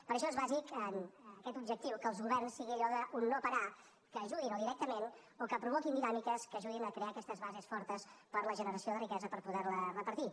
per això és bàsic amb aquest objectiu que els governs sigui allò d’un no parar que ajudin o directament o que provoquin dinàmiques que ajudin a crear aquestes bases fortes per a la generació de riquesa per poder la repartir